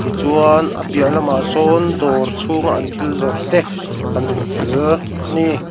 tichuan a piahlamah sawn dawr chhunga an thil zawrh te kan hmu tel ani.